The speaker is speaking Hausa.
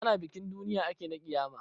Ana bikin duniya ake na ƙiyama